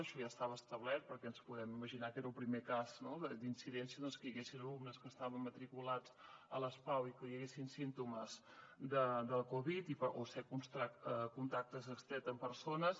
això ja estava establert perquè ja ens podem imaginar que era el primer cas d’incidència que hi haguessin alumnes que estaven matriculats a les pau i que hi haguessin símptomes de covid o ser contactes estrets amb persones